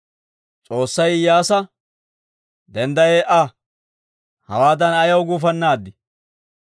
S'oossay Iyyaasa, «Dendda ee"a! Hawaadan ayaw gufannaad?